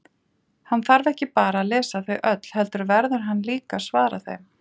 Hann þarf ekki bara að lesa þau öll, heldur verður hann líka að svara þeim.